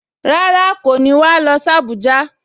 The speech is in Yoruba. Rárá, kò ní wà á lọ sí Abuja